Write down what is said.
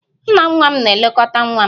Nna nwa m na-elekọta nwa m